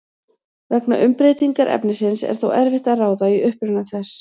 Vegna umbreytingar efnisins er þó erfitt að ráða í uppruna þess.